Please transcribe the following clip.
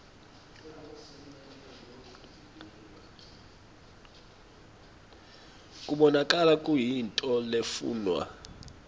kubonakala kuyintfo lefunwa